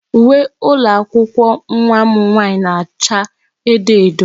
Uwe ụlọ akwụkwọ nwa m nwaanyị na-acha edo edo.